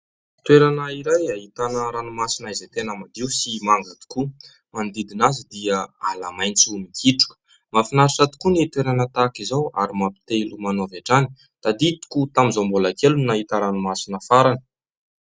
Toerana iray ahitana ranomasina izay tena madio sy manga tokoa. Manodidina azy dia ala maintso mikitroka. Mahafinaritra tokoa ny toerana tahaka izao ary mampitia ilomano hatrany. Tadidiko tamin'izaho mbola kely no nahita ranomasina farany.